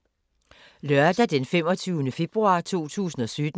Lørdag d. 25. februar 2017